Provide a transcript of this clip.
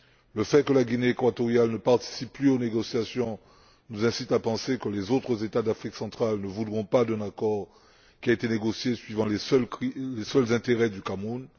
Le fait que la Guinée équatoriale ne participe plus aux négociations nous incite à penser que les autres États d'Afrique centrale ne voudront pas d'un accord qui a été négocié suivant les seuls intérêts du Cameroun.